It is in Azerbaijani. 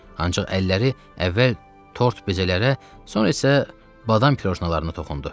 Ancaq əlləri əvvəl tort bezələrə, sonra isə badam kroşnalarına toxundu.